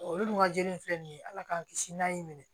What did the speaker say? Olu dun ka jeli in filɛ nin ye ala k'an kisi n'a y'i minɛ